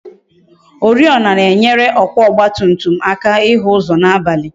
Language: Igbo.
Oriọna na-enyere ọkwa ọgba tum tum ịhụ ụzọ n'abalị